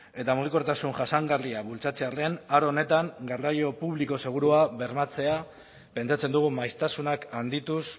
eta mugikortasun jasangarria bultzatzearren aro honetan garraio publiko segurua bermatzea pentsatzen dugu maiztasunak handituz